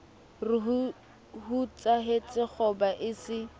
re hoetsahetse kgoba e se